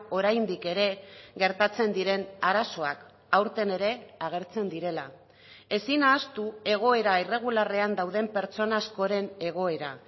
oraindik ere gertatzen diren arazoak aurten ere agertzen direla ezin ahaztu egoera irregularrean dauden pertsona askoren egoera